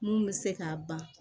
Mun bɛ se k'a ban